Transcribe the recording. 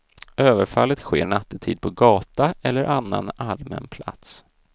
Överfallet sker nattetid på gata eller annan allmän plats.